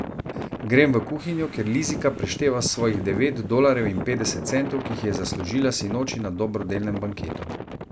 Grem v kuhinjo, kjer Lizika prešteva svojih devet dolarjev in petdeset centov, ki jih je zaslužila sinoči na dobrodelnem banketu.